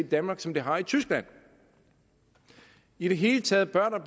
danmark som det har i tyskland i det hele taget bør der